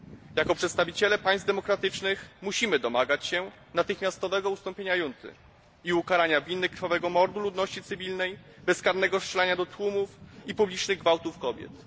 Jako przedstawiciele państw demokratycznych, musimy domagać się natychmiastowego ustąpienia junty i ukarania winnych krwawego mordu ludności cywilnej, bezkarnego strzelania do tłumów i publicznych gwałtów kobiet.